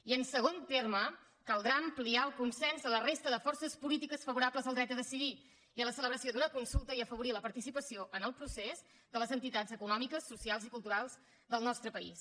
i en segon terme caldrà ampliar el consens a la resta de forces polítiques favorables al dret a decidir i a la celebració d’una consulta i afavorir la participació en el procés de les entitats econòmiques socials i culturals del nostre país